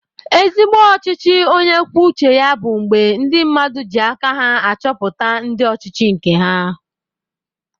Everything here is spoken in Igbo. Ezigbo ọchịchị onye kwuo uche ya bu mgbe ndi mmadụ ji aka ha achọpụta ndị ọchịchị nke ha